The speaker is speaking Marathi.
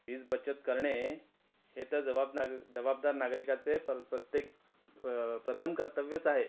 वीज बचत करणे हे तर जवाब नाग जवाबदार नागरिकाचे प्रत्येक अ प्रथम कर्तव्यच आहे.